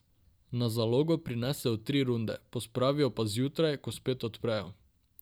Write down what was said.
Na zalogo prinesejo tri runde, pospravijo pa zjutraj, ko spet odprejo.